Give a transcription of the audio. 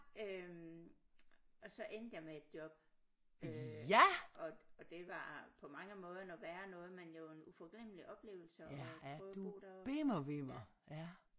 Øh og så endte jeg med et job øh og og det var på mange måder noget værre noget men det var en uforglemmelig oplevelse at prøve at bo deroppe ja